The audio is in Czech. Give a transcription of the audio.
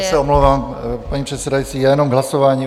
Já se omlouvám, paní předsedající, jenom k hlasování.